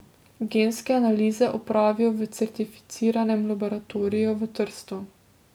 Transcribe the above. Genske analize opravijo v certificiranem laboratoriju v Trstu.